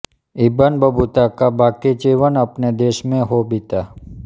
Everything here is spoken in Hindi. इब्न बतूता का बाकी जीवन अपने देश में हो बीता